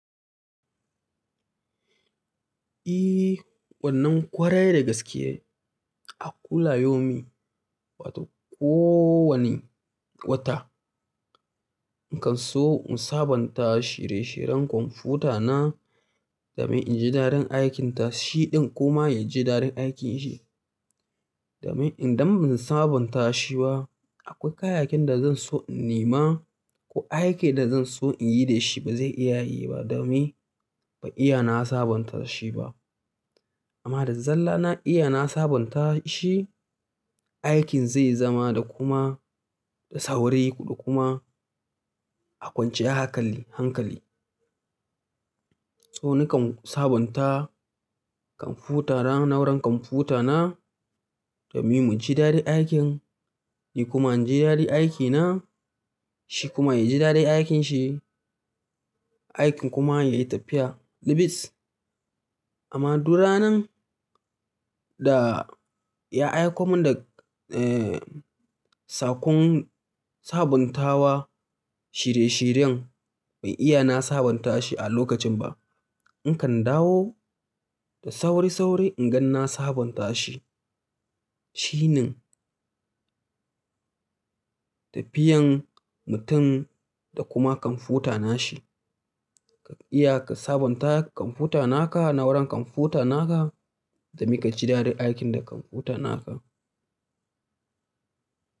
Eh, wannan kwarai da gaske. A kula yaumi wato kowane wata, in kan so in sabonta shire-shiren kwamfuta na domin in ji dadin aikinta shiɗin kuma ya ji dadin aikinshe. Domin idan ban sabanta shi ba akwai kayakin da zan so in nema ko aikin da zan so in yi da shi ba zai iya yi ba domin ban iya na sabonta shi ba. Amma da zalla na iya na sabonta shi, aikin zai zama da kuma da sauri da kuma a kwancen hakali- hankali. Tsonikan sabonta kwamfuta na, na wurin kwamfuta na domin mu ji daddin aikin ni kuma in ji daren aikina shi kuma ya ji daddin aikinshe, aikin kuma ya yi tafiya lubis. Amma duk ranan da ya aiko mun da, eh, sakon sabuntawa shirye-shiryen ban iya na sabonta shi a lokacin ba, in kan dawo da sauri-sauri in gan na sabonta shi. Shi ne tafiyan mutum da kuma kwamfuta na shi. Ka iya ka sabonta kwamfuta naka, na wurin kwamfutana ka domin ka ji daddin aikin da kwamfuta naka.